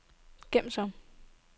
gem som